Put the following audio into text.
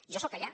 jo soc allà